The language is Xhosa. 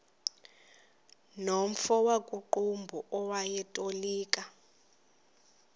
nomfo wakuqumbu owayetolika